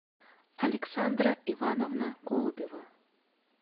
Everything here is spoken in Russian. александра ивановна голубева